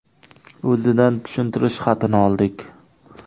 O‘zidan tushuntirish xatini oldik.